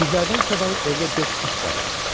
Pişiklərdən savayı evdə dörd it də vardı.